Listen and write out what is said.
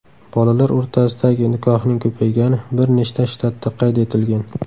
Bolalar o‘rtasidagi nikohning ko‘paygani bir nechta shtatda qayd etilgan.